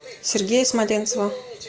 сергея смоленцева